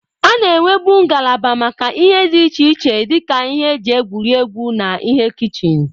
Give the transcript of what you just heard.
A na-enwebu ngalaba maka ihe dị iche iche dị ka ihe eji egwuri egwu na ihe kichin.